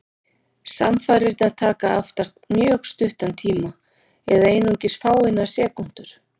Samfarirnar taka oftast mjög stuttan tíma, eða einungis fáeinar sekúndur.